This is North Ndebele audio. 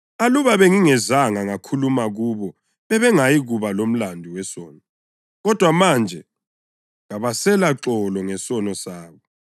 Aluba bengingezanga ngakhuluma kubo bebengayikuba lomlandu wesono. Kodwa manje kabaselaxolo ngesono sabo.